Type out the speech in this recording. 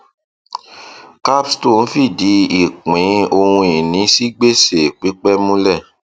capstone fìdí ìpín ohunìní sí gbèsè pípẹ múlẹ